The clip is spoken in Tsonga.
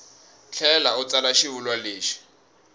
tlhela u tsala xivulwa lexi